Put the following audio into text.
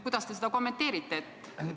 Kuidas te seda kommenteerite?